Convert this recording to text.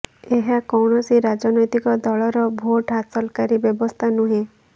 ଏହା କୌଣସି ରାଜନୈତିକ ଦଳର ଭୋଟ ହାସଲକାରୀ ବ୍ୟବସ୍ଥା ନୁହେଁ